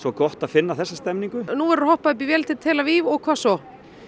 gott að finna þessa stemningu nú verður hoppað uppí vél til tel Aviv og hvað svo